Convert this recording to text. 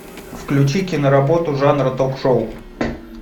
включи киноработу жанра ток шоу